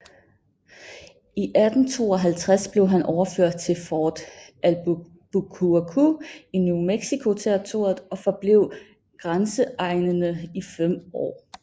I 1852 blev han overført til Fort Albuquerque i New Mexico Territoriet og forblev i grænseegnene i fem år